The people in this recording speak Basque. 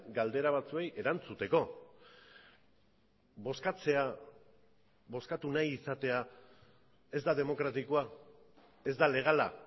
galdera batzuei erantzuteko bozkatzea bozkatu nahi izatea ez da demokratikoa ez da legala